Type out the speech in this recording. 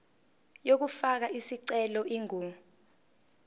yokufaka isicelo ingu